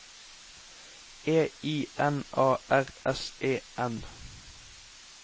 E I N A R S E N